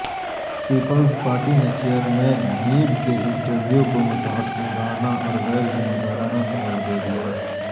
Peoples Party نے chairman NAB کے interview کو متعصبانہ اور غیر ذمہ دارانہ قرار دے دیا